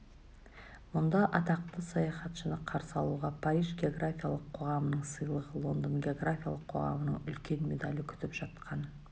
мұнда атақты саяхатшыны қарсы алуға париж географиялық қоғамының сыйлығы лондон географиялық қоғамының үлкен медалі күтіп жатқан